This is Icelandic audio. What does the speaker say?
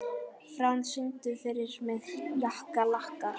Fránn, syngdu fyrir mig „Jakkalakkar“.